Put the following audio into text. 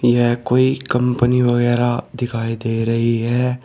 यह कोई कंपनी वगैरा दिखाई दे रही है।